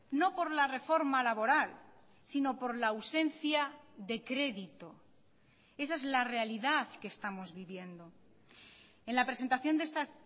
no por la reforma laboral sino por la ausencia de crédito esa es la realidad que estamos viviendo en la presentación de esta